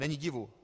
Není divu.